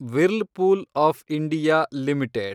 whirlpool of India limited